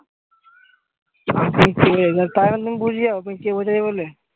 তাহলে তুমি বুঝে যায় তোমায় কে বোঝাবে বলে?